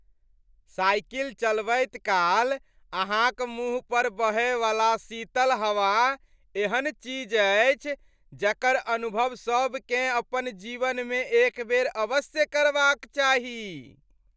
Cycle चलबैत काल अहाँक मुँह पर बहयवला शीतल हवा एहन चीज अछि जकर अनुभव सभकेँ अपन जीवनमे एक बेर अवश्य करबाक चाही।